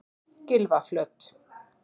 Gylfaflöt